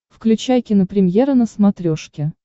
включай кинопремьера на смотрешке